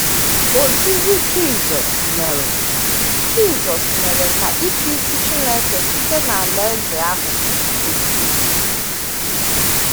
Ozizi Jisọs mere Jisọs mere ka ịchịisi Chineke site n’Alaeze ahụ pụta ìhè